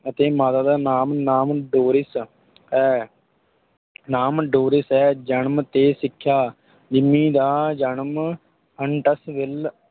ਅਤੇ ਮਾਤਾ ਦਾ ਨਾਮ ਨਾਮ ਡੋਰਿਸ ਹੈ ਨਾਮ ਡੋਰਿਸ ਹੈ ਜਨਮ ਤੇ ਸਿੱਖਿਆ, ਜਿੰਮੀ ਦਾ ਜਨਮ ਹੰਨਟਸਵਿਲ,